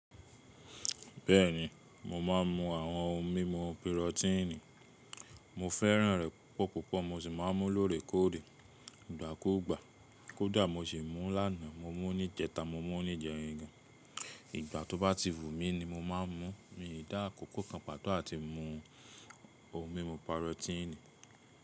Bẹ́ẹ̀ni, mo máa ń mú àwọn ohun mímu pirotíìnì. Mo fẹ́ràn rẹ̀ púpọ̀púpọ̀. Mo sì máa ń mú lóòrèkóòrè, ìgbàkúugbà. Kódà mo sì múu lánàá, mo mú níjẹta, mo mú níjẹrin gan. Ìgbà tó bá ti wu mí ni mo máa ń múu. Mii dà akókó kan pàtó àti mú ohun mímu pirotíìnì.